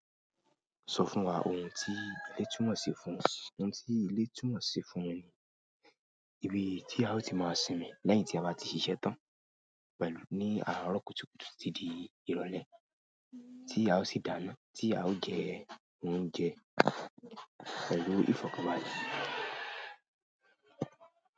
Sọ fún wa ohun tí ilé túmọ̀ ṣi fún ọ. Ohun tí ilé túmọ̀ ṣi fún mi ni ibi tí a o ti máa sinmi lẹ́yìn tí a bá ti ṣiṣẹ́ tán, pẹ̀lú ní àárọ̀ kùtùkùtù títí di ìrọ̀lẹ́ tí a o sì dáná, tí a o jẹ oúnjẹ pẹ̀lú ìfọ̀kànbalẹ̀.